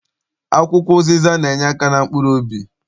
Akwụkwọ ụzịza na- enyeaka na mkpuruobi.